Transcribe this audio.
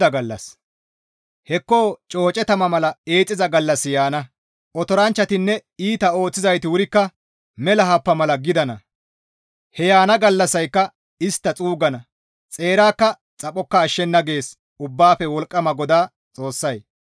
«Hekko cooce tama mala eexxiza gallassi yaana; otoranchchatinne iita ooththizayti wurikka mela happa mala gidana; he yaana gallassayka istta xuuggana; xeerakka xaphokka ashshenna» gees Ubbaafe Wolqqama GODAA Xoossay.